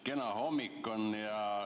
Kena hommik on.